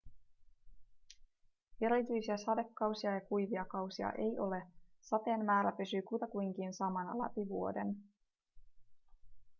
erityisiä sadekausia ja kuivia kausia ei ole sateen määrä pysyy kutakuinkin samana läpi vuoden